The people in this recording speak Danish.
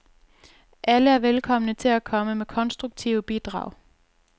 Alle er velkomne til at komme med konstruktive bidrag.